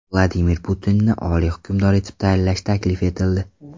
Vladimir Putinni Oliy hukmdor etib tayinlash taklif etildi.